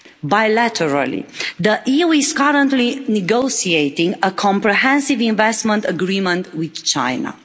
Bilaterally, the EU is currently negotiating a comprehensive investment agreement with China.